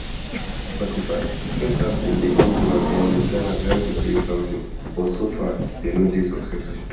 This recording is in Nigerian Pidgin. forty-fivedi first half bin dey come to an end wit ghana trying to create sometin but so far dey no dey successful